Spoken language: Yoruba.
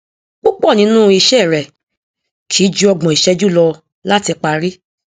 púpọ nínú iṣẹ rẹ kì í ju ọgbọn ìṣẹjú lọ láti parí